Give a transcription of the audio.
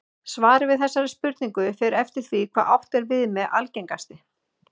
Svarið við þessari spurningu fer eftir því hvað átt er við með algengasti.